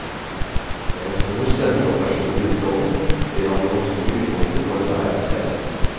Med en stor stemme og personlig utstrålning blir han det naturlige midtpunktet på enhver scene.